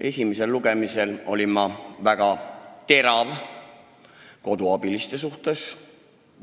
Esimesel lugemisel olin ma väga terav koduabiliste